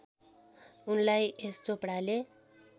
उनलाई यश चोपडाले